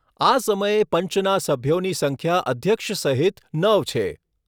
આ સમયે પંચના સભ્યોની સંખ્યા અધ્યક્ષ સહિત નવ છે.